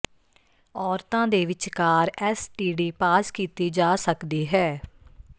ਔਰਤਾਂ ਦੇ ਵਿਚਕਾਰ ਐੱਸ ਟੀ ਡੀ ਪਾਸ ਕੀਤੀ ਜਾ ਸਕਦੀ ਹੈ